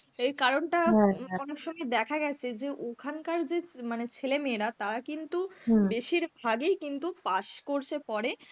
এর কারনটা অনেক সময় দেখা গেছে যে ওখানকার যে মানে ছেলে মেয়েরা, তারা কিন্তু বেশিরভাগই কিন্তু পাস course এ পড়ে